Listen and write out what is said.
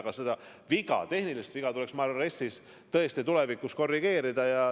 Aga seda tehnilist viga RES-is tuleks minu arvates tõesti tulevikus korrigeerida.